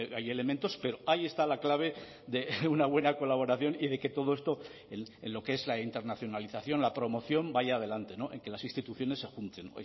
hay elementos pero ahí está la clave de una buena colaboración y de que todo esto en lo que es la internacionalización la promoción vaya adelante en que las instituciones se junten